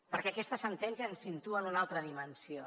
perquè aquesta sentència ens situa en una altra dimensió